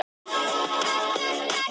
Óbirt meistararitgerð.